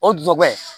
O dubayi